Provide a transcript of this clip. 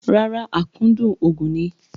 Rárá, akúndùn òògùn ni.